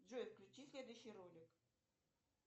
джой включи следующий ролик